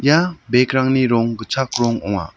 ia bek rangni rong gitchak rong ong·a.